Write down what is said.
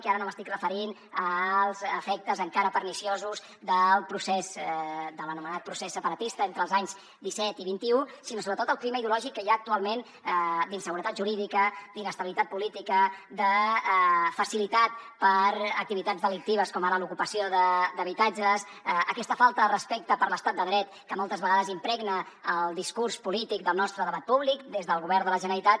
i ara no m’estic referint als efectes encara perniciosos del procés de l’anomenat procés separatista entre els anys disset i vint un sinó sobretot al clima ideològic que hi ha actualment d’inseguretat jurídica d’inestabilitat política de facilitat per a activitats delictives com ara l’ocupació d’habitatges aquesta falta de respecte per l’estat de dret que moltes vegades impregna el discurs polític del nostre debat públic des del govern de la generalitat